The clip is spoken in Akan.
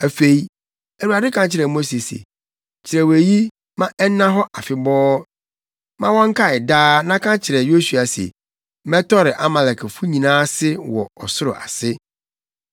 Afei, Awurade ka kyerɛɛ Mose se, “Kyerɛw eyi ma ɛnna hɔ afebɔɔ ma wɔnkae daa na ka kyerɛ Yosua se, mɛtɔre Amalekfo nyinaa ase wɔ ɔsoro ase.”